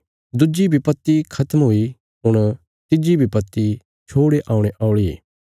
दुज्जी विपत्ति खत्म हुई हुण तिज्जी विपत्ति छोड़े औणे औल़ी